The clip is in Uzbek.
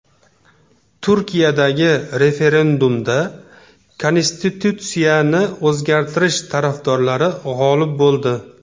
Turkiyadagi referendumda konstitutsiyani o‘zgartirish tarafdorlari g‘olib bo‘ldi .